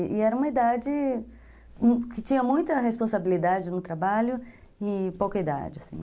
E era uma idade que tinha muita responsabilidade no trabalho e pouca idade, assim, né?